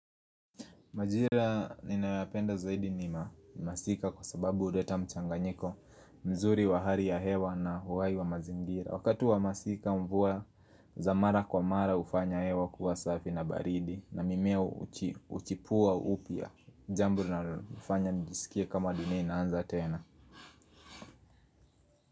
Majira ninayoyapenda zaidi nima ni masika kwa sababu huleta mchanganyiko mzuri wa hari ya hewa na uhai wa mazingira Wakati wa masika mvua za mara kwa mara hufanya hewa kuwa safi na baridi na mimea huki uchipua upya jambo linalo lifanya njisikia kama dunia inaanza tena.